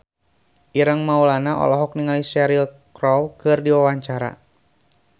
Ireng Maulana olohok ningali Cheryl Crow keur diwawancara